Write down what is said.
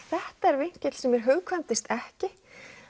þetta er vinkill sem mér hugkvæmdist ekki